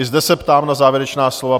I zde se ptám na závěrečná slova.